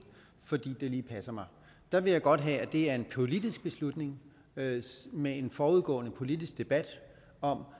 fordi det passer mig der vil jeg godt have at det er en politisk beslutning med en forudgående politisk debat om